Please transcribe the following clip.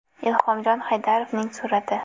Ilhomjon Haydarovning surati.